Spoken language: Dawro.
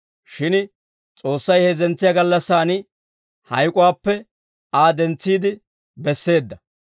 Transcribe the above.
Shin S'oossay heezzentsiyaa gallassan hayk'uwaappe Aa dentsiide besseedda.